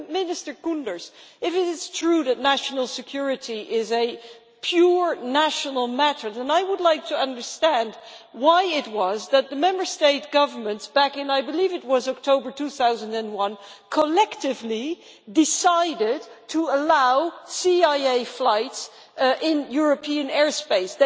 If it is true, as Minister Koenders says, that national security is a purely national matter then I would like to understand why it was that the Member State governments back in, I believe, October 2001 collectively decided to allow CIA flights in European airspace.